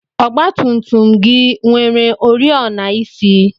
ọgba tum tum gị nwere oriọna isi?